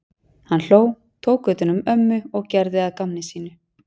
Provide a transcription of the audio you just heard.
Hann hló, tók utan um ömmu og gerði að gamni sínu.